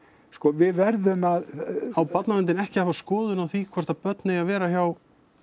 sko við verðum að á barnaverndin ekki að hafa skoðun á því hvort að börn eigi að vera hjá